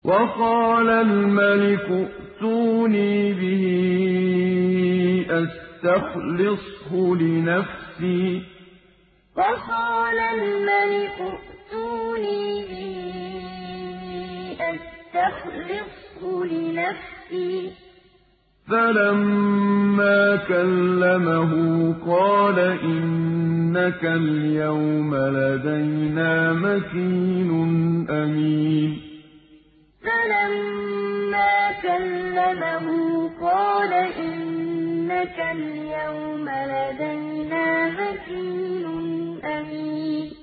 وَقَالَ الْمَلِكُ ائْتُونِي بِهِ أَسْتَخْلِصْهُ لِنَفْسِي ۖ فَلَمَّا كَلَّمَهُ قَالَ إِنَّكَ الْيَوْمَ لَدَيْنَا مَكِينٌ أَمِينٌ وَقَالَ الْمَلِكُ ائْتُونِي بِهِ أَسْتَخْلِصْهُ لِنَفْسِي ۖ فَلَمَّا كَلَّمَهُ قَالَ إِنَّكَ الْيَوْمَ لَدَيْنَا مَكِينٌ أَمِينٌ